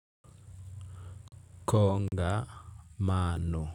Kongamano.